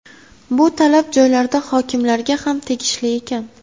Bu talab joylarda hokimlarga ham tegishli”, ekan.